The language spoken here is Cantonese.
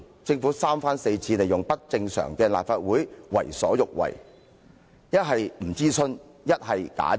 政府三番四次利用不正常的立法會為所欲為，不是不諮詢，就是假諮詢。